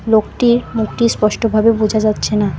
লোকটির মুখটি স্পষ্টভাবে বোঝা যাচ্ছে না।